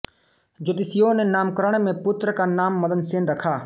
ज्योतिषियों ने नामकरण मे पुत्र का नाम मदनसेन रखा